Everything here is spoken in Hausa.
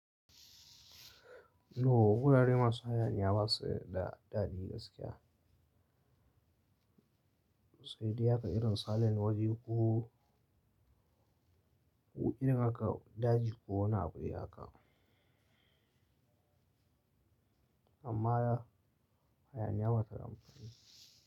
No, wurare masu hayaniya ba su da daɗi gaskiya. Sede haka irin silent waje ko irin haka daji ko wani abu dai haka amma hayaniya bata da amfani.